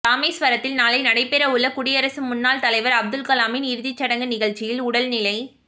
ராமேஸ்வரத்தில் நாளை நடைபெறவுள்ள குடியரசு முன்னாள் தலைவர் அப்துல்கலாமின் இறுதிச் சடங்கு நிகழ்ச்சியில் உடல்நிலை